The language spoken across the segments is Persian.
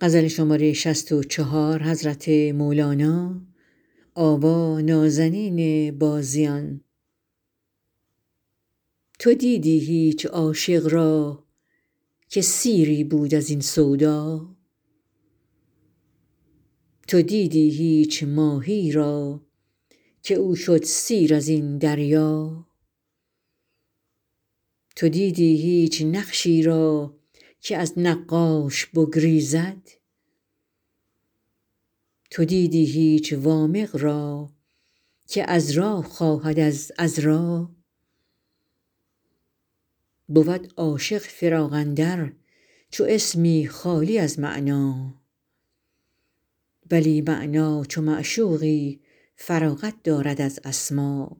تو دیدی هیچ عاشق را که سیری بود از این سودا تو دیدی هیچ ماهی را که او شد سیر از این دریا تو دیدی هیچ نقشی را که از نقاش بگریزد تو دیدی هیچ وامق را که عذرا خواهد از عذرا بود عاشق فراق اندر چو اسمی خالی از معنی ولی معنی چو معشوقی فراغت دارد از اسما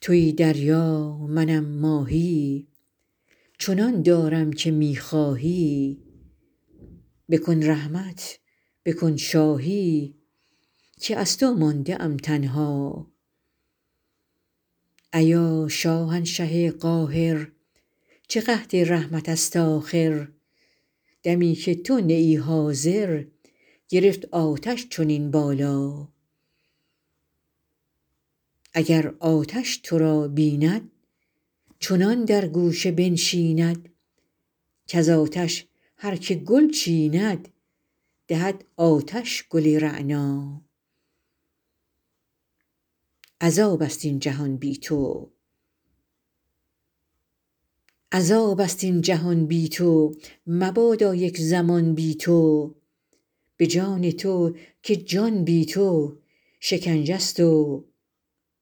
توی دریا منم ماهی چنان دارم که می خواهی بکن رحمت بکن شاهی که از تو مانده ام تنها ایا شاهنشه قاهر چه قحط رحمت ست آخر دمی که تو نه ای حاضر گرفت آتش چنین بالا اگر آتش تو را بیند چنان در گوشه بنشیند کز آتش هر که گل چیند دهد آتش گل رعنا عذاب ست این جهان بی تو مبادا یک زمان بی تو به جان تو که جان بی تو شکنجه ست و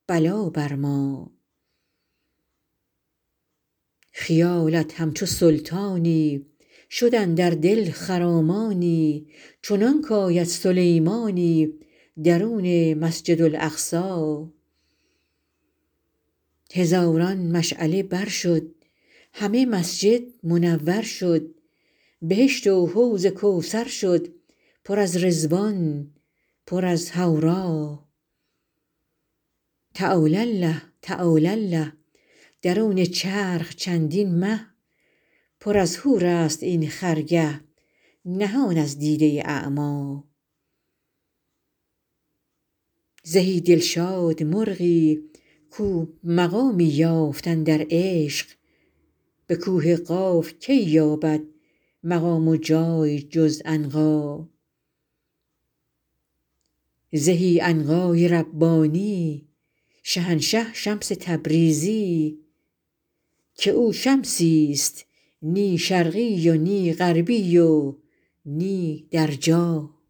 بلا بر ما خیالت همچو سلطانی شد اندر دل خرامانی چنانک آید سلیمانی درون مسجد اقصی هزاران مشعله بر شد همه مسجد منور شد بهشت و حوض کوثر شد پر از رضوان پر از حورا تعالی الله تعالی الله درون چرخ چندین مه پر از حورست این خرگه نهان از دیده اعما زهی دلشاد مرغی کو مقامی یافت اندر عشق به کوه قاف کی یابد مقام و جای جز عنقا زهی عنقای ربانی شهنشه شمس تبریزی که او شمسی ست نی شرقی و نی غربی و نی در جا